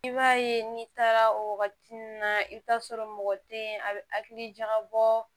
I b'a ye n'i taara o wagati nun na i bi t'a sɔrɔ mɔgɔ te yen a bi hakili jagabɔ